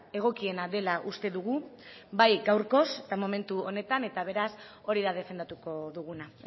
egokiena dela uste dugu bai gaurkoz eta momentu honetan eta beraz hori da defendatuko duguna